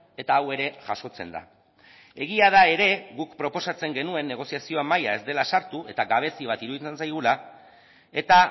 eta hau ere jasotzen da egia da ere guk proposatzen genuen negoziazioa mahaian ez dela sartu eta gabezi bat iruditzen zaigula eta